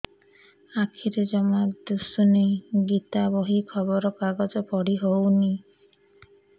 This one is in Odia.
ଆଖିରେ ଜମା ଦୁଶୁନି ଗୀତା ବହି ଖବର କାଗଜ ପଢି ହଉନି